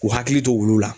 K'u hakili to olu la